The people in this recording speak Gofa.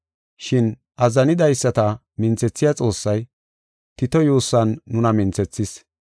Shin azzanidaysata minthethiya Xoossay, Tito yuussan nuna minthethis.